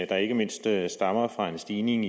der ikke mindst stammer fra en stigning